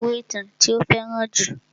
Ó kó ìwé ìtàn tí ó fẹ́ràn jù.